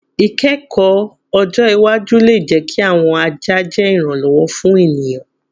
Ikẹkọ ọjọ iwaju le jẹ ki awọn aja je iranlọwọ fun eniyan